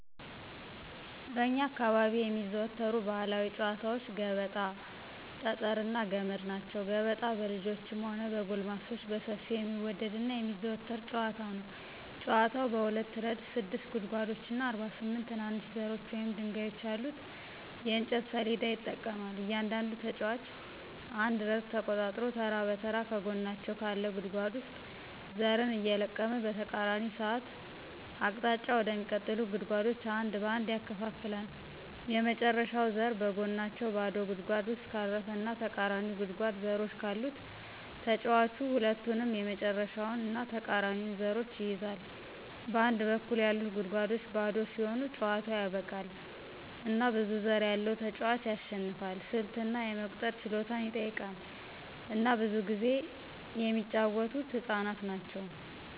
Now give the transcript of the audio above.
በእኛ አካባቢ የሚዘወተሩ ባህላዊ ጨዋታወች ገበጣ፣ ጠጠር እና ገመድ ናቸው። ገበጣ በልጆችም ሆነ በጎልማሶች በሰፊው የሚወደድ እና የሚዘወተር ጨዋታ ነው። ጨዋታው በሁለት ረድፍ ስድስት ጉድጓዶች እና 48 ትናንሽ ዘሮች ወይም ድንጋዮች ያሉት የእንጨት ሰሌዳ ይጠቀማል. እያንዳንዱ ተጫዋች አንድ ረድፍ ተቆጣጥሮ ተራ በተራ ከጎናቸው ካለ ጉድጓድ ውስጥ ዘርን እየለቀመ በተቃራኒ ሰዓት አቅጣጫ ወደሚቀጥሉት ጉድጓዶች አንድ በአንድ ያከፋፍላል። የመጨረሻው ዘር በጎናቸው ባዶ ጉድጓድ ውስጥ ካረፈ እና ተቃራኒው ጉድጓድ ዘሮች ካሉት ተጫዋቹ ሁለቱንም የመጨረሻውን እና ተቃራኒውን ዘሮች ይይዛል. በአንድ በኩል ያሉት ጉድጓዶች ባዶ ሲሆኑ ጨዋታው ያበቃል፣ እና ብዙ ዘር ያለው ተጫዋች ያሸንፋል። ስልት እና የመቁጠር ችሎታን ይጠይቃል፣ እና ብዙ ጊዜ የሚጫወተው ህፃናት ናቸው።